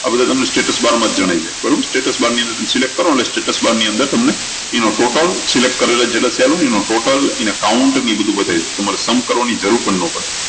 આ બધું તમને status bar માં જ જણાઈ દે બરોબર status bar ની અંદર select કરો ને એટલે status bar ની અંદર તમને એનું totalselect કરેલા જેટલી છે એનું total એના count એ બધું બતાઈ દે તમારે sum કરવાની જરૂર પણ ના પડે